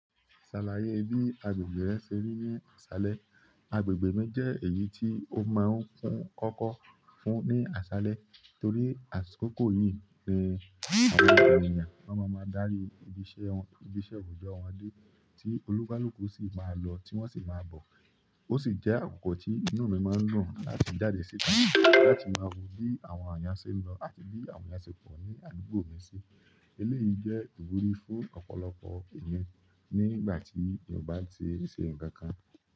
Ṣàlàyé bí agbègbè rẹ ṣe rí ní ìsàlẹ̀. Agbègbè mi jẹ́ èyí tí ó máa ń kún ọkọ́ fún ní àṣálẹ́ torí àsìkò yí ni àwọn ènìyàn máa ń darí ibi iṣẹ́, ibi iṣẹ́ ojoọ wọn dé tí onikaluku sì máa lọ tí wọ́n sì máa bọ̀. Ó sì jẹ́ àkókò tí inú mi máa ń dùn láti jáde síta láti máa wò bí àwọn èèyàn ṣe ń lọ àti bí àwọn èèyàn ṣe pọ̀ ní àdúgbò mi sí. Ilé yìí jẹ́ ìwúrí fún ọ̀pọ̀lọpọ̀ èmi nígbà tí ènìyàn bá ṣe nǹkan kan.